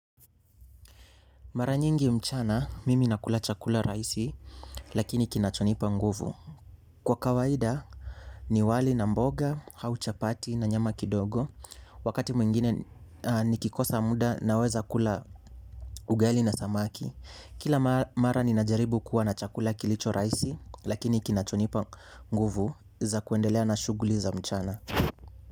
Mara nyingi mchana, mimi nakula chakula raisi, lakini kinachonipa nguvu. Kwa kawaida, ni wali na mboga, auchapati na nyama kidogo, wakati mwingine nikikosa muda naweza kula ugali na samaki. Kila mara ninajaribu kuwa na chakula kilicho raisi, lakini kinachonipa nguvu za kuendelea na shuguli za mchana.